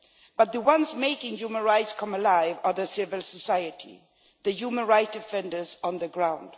But the ones making human rights come alive are civil society the human rights defenders on the ground